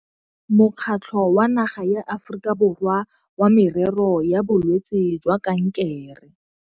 Mokgatlho wa Naga ya Aforika Borwa wa Merero ya Bolwetse jwa Kankere.